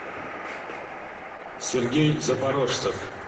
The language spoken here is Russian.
сергей запорожцев